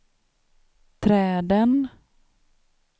träden